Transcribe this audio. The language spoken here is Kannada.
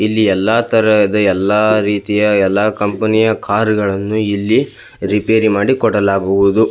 ಇಲ್ಲಿ ಎಲ್ಲಾ ತರಹದ ಎಲ್ಲಾ ರೀತಿಯ ಎಲ್ಲಾ ಕಂಪನಿಯ ಕಾರುಗಳನ್ನು ಇಲ್ಲಿ ರಿಪೇರಿ ಮಾಡಿಕೊಡಲಾಗುವುದು.